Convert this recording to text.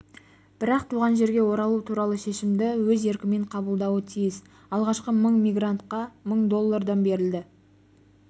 бірақ туған жерге оралу туралы шешімді өз еркімен қабылдауы тиіс алғашқы мың мигрантқа мың доллардан беріледі